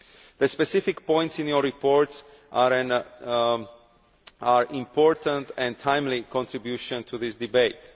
The specific points in your report are an important and timely contribution to this debate.